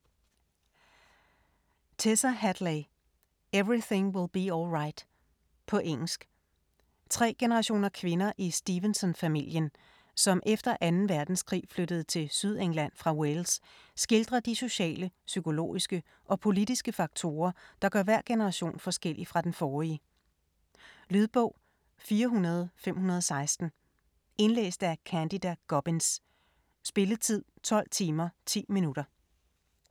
Hadley, Tessa: Everything will be all right På engelsk. Tre generationer kvinder i Stevenson-familien, som efter 2. verdenskrig flyttede til Sydengland fra Wales, skildrer de sociale. psykologiske og politiske faktorer, der gør hver generation forskellig fra den forrige. Lydbog 44516 Indlæst af Candida Gubbins. Spilletid: 12 timer, 10 minutter.